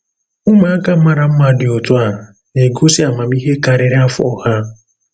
Ụmụaka mara mma dị otu a na-egosi amamihe karịrị afọ ha.